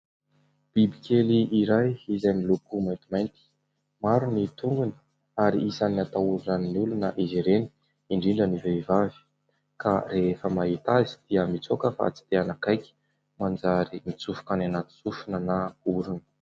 Biby kely iray izay miloko maintimainty. Maro ny tongony ary isan'ny atahoran'ny olona izy ireny, indrindra ny vehivavy, ka rehefa mahita azy dia mitsoaka fa tsy te anakaiky manjary mitsofoka any anaty sofina na orona.